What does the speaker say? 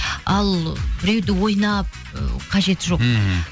ал біреуді ойнап ы қажеті жоқ ммм